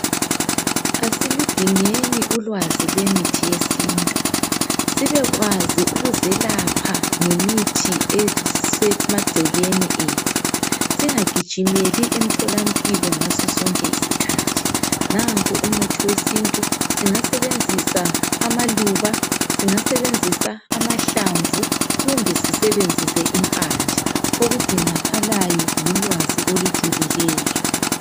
asiludingeni ulwazo lokwelapha ngesintu sibekwazi ukuzelapha ngamithi esemacekeni ethu, singa gijimeli emthola mpilo ngaso sonke isikhathi nanku umuthi wesintu singasebenzisa amaluba singasebenzis amahlamvu kumbe sissebenzise impande okudingakalayo lulwazi olujulileyo.